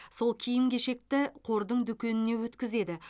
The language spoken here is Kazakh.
сол киім кешекті қордың дүкеніне өткізеді